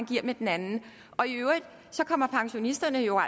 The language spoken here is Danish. giver med den anden i øvrigt kommer pensionisterne jo